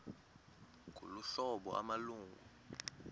ngolu hlobo amalungu